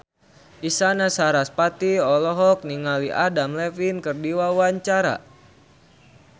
Isyana Sarasvati olohok ningali Adam Levine keur diwawancara